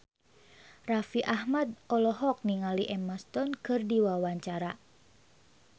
Raffi Ahmad olohok ningali Emma Stone keur diwawancara